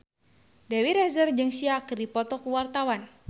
Dewi Rezer jeung Sia keur dipoto ku wartawan